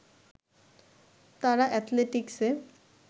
তারা এথলেটিক্স-এ